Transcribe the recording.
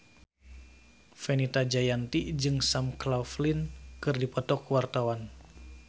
Fenita Jayanti jeung Sam Claflin keur dipoto ku wartawan